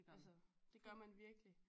Altså det gør man virkelig